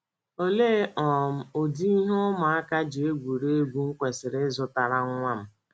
Olee um ụdị ihe ụmụaka ji egwurị egwu m kwesịrị ịzụtara nwa m??